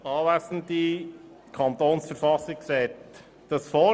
Kommissionspräsident der FiKo.